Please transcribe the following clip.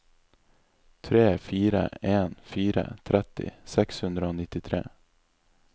tre fire en fire tretti seks hundre og nittitre